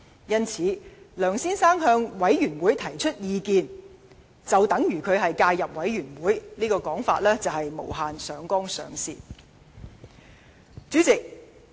因此，若說梁先生向專責委員會提出意見就等於介入委員會，實在是無限上綱上線。